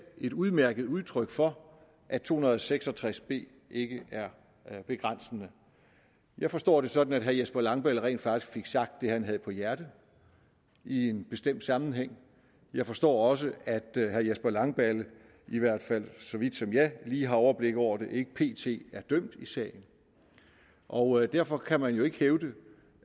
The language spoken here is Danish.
et udmærket udtryk for at § to hundrede og seks og tres b ikke er begrænsende jeg forstår det sådan at herre jesper langballe rent faktisk fik sagt det han havde på hjerte i en bestemt sammenhæng jeg forstår også at herre jesper langballe i hvert fald så vidt jeg lige har overblik over det ikke pt er dømt i sagen og derfor kan man jo ikke hævde